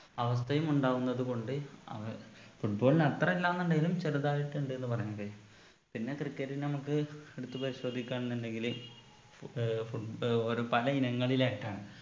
അവസ്ഥയുമുണ്ടാകുന്നത് കൊണ്ട് അവ football ന് അത്ര ഇല്ലാന്നിണ്ടെങ്കിലും ചെറുതായിട്ട് ഉണ്ടെന്ന് പറഞ്ഞൂടെ പിന്നെ cricket നമുക്ക് എടുത്ത് പരിശോധിക്കാ എന്നുണ്ടെങ്കില് ഏർ foot ഏർ ഒരു പല ഇനങ്ങളിലായിട്ടാണ്